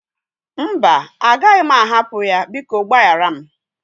Mba, agaghị m ahapụ ya. Biko gbaghara m.